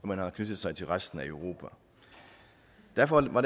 man har knyttet sig til resten af europa derfor var